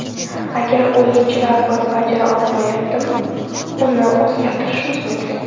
Agar o‘yinchilar buni bajara olmayaptimi uni o‘zgartirishimiz mumkin.